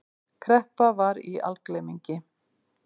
Kreppa var í algleymingi.